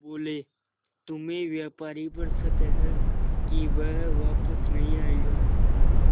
बोले तुम्हें व्यापारी पर शक है कि वह वापस नहीं आएगा